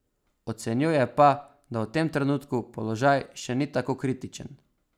Ocenjuje pa, da v tem trenutku položaj še ni tako kritičen.